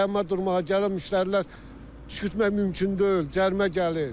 Dayanma durmağa gələn müştərilər düşürtmək mümkün deyil, cərimə gəlir.